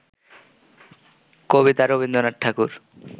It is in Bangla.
কবিতা রবীন্দ্রনাথ ঠাকুর